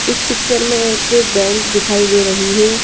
इस पिक्चर में एक बैंक दिखाई दे रही है।